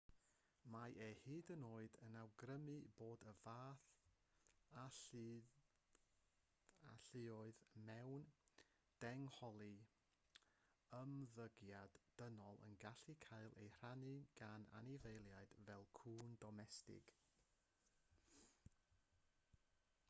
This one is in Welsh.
mae e hyd yn oed yn awgrymu bod y fath alluoedd mewn dehongli ymddygiad dynol yn gallu cael ei rannu gan anifeiliaid fel cŵn domestig